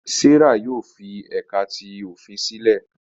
Serah yóò fi ẹka ti ofin silẹ